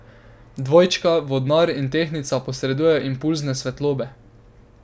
Dvojčka, Vodnar in Tehtnica posredujejo impulze svetlobe.